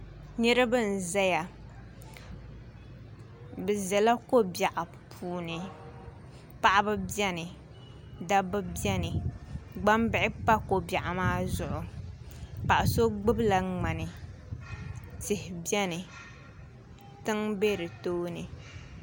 Niraba n ʒɛya bi ʒɛla ko biɛɣu puuni paɣaba biɛni dabba biɛni gbambihi pa ko biɛɣu maa zuɣu paɣa so gbubila ŋmani tihi biɛni tiŋ bɛ di tooni